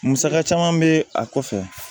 Musaka caman bɛ a kɔfɛ